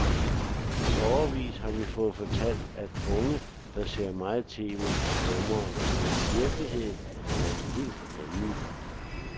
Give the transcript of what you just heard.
I årevis har vi fået fortalt, at unge, der ser meget tv, er dumme, men virkeligheden er en helt anden.